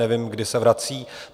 Nevím, kdy se vrací.